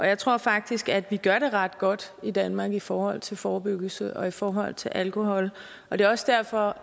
jeg tror faktisk at vi gør det ret godt i danmark i forhold til forebyggelse i forhold til alkohol og det er også derfor